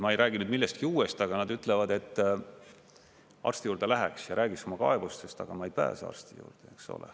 Ma ei räägi nüüd millestki uuest, aga nad ütlevad, et arsti juurde läheks ja räägiks oma kaebustest, aga ma ei pääse arsti juurde, eks ole.